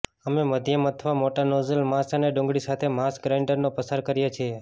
અમે માધ્યમ અથવા મોટા નોઝલ માંસ અને ડુંગળી સાથે માંસ ગ્રાઇન્ડરનો પસાર કરીએ છીએ